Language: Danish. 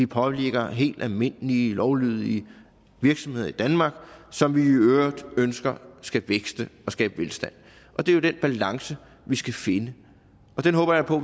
påvirker helt almindelige lovlydige virksomheder i danmark som vi i øvrigt ønsker skal vækste og skabe velstand det er jo den balance vi skal finde og den håber jeg på